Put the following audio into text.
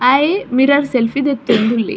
ಆಯೆ mirror selfie ದೆತ್ತೊಂದುಲ್ಲೆ.